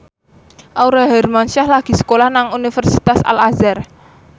Aurel Hermansyah lagi sekolah nang Universitas Al Azhar